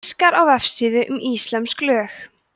fiskar á vefsíðu um íslömsk lög